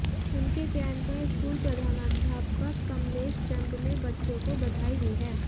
उनके चयन पर स्कूल प्रधानाध्यापक कमलेश चंद ने बच्चों को बधाई दी है